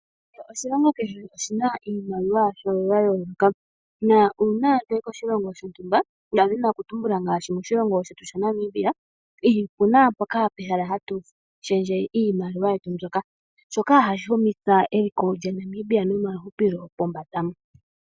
Oshilongo kehe oshi na iimaliwa yasho ya yooloka. Uuna to yi koshilongo shontumba, oshiholelwa omuntu te ya moshilongo shetu shaNamibia opu na pehala mpoka hapu shendjwa iimaliwa, shoka hashi humitha eliko lyaNamibia nomahupilo pombanda.